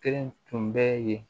Kelen tun bɛ yen